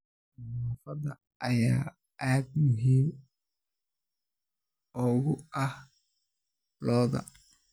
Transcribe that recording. Nadaafadda ayaa aad muhiim ugu ah gowraca lo'da.